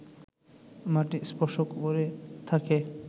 মাটি স্পর্শ করে থাকে